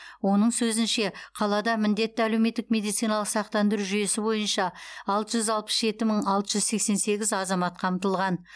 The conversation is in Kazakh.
оның сөзінше қалада міндетті әлеуметтік медициналық сақтандыру жүйесі бойынша алты жүз алпыс жеті мың алты жүз сексен сегіз азамат қамтылған